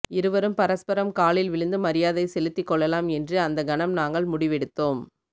இருவரும் பரஸ்பரம் காலில் விழுந்து மரியாதை செலுத்திக்கொள்ளலாம் என்று அந்த கணம் நாங்கள் முடிவெடுத்தோம்